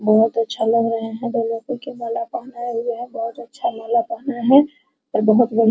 बहुत अच्छा लग रहा है दोनों फूल के मालाएं पहनाए हुए हैं बहुत अच्छा मालाएं पहनाए हैं और बहुत बढ़िया --